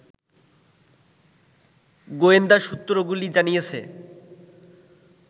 গোয়েন্দা সূত্রগুলি জানিয়েছে